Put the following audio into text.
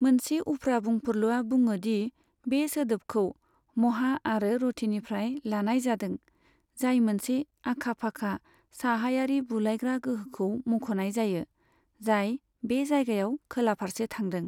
मोनसे उफ्रा बुंफुरलुआ बुङो दि बे सोदोबखौ 'महा' आरो 'रथी'निफ्राय लानाय जादों, जाय मोनसे आखा फाखा साहायारि बुलायग्रा गोहोखौ मुंख'नाय जायो, जाय बे जायगायाव खोला फारसे थांदों।